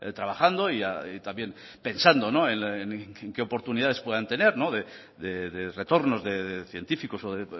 trabajando y también pensando en qué oportunidades puedan tener de retornos de científicos o de